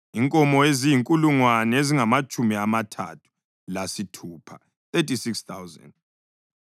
inkomo eziyizinkulungwane ezingamatshumi amathathu lasithupha (36,000),